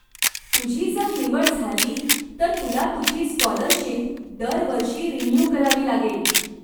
तुझी जर निवड झाली, तर तुला तुझी स्काॅलरशीप दरवर्षी रिन्यू करावी लागेल.